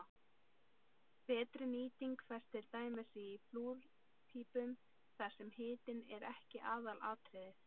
Betri nýting fæst til dæmis í flúrpípum þar sem hitun er ekki aðalatriðið.